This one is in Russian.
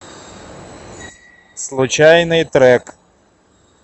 случайный трек